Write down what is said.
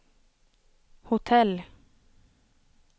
hotell